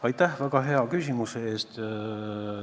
Aitäh väga hea küsimuse eest!